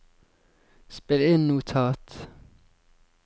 spill inn notat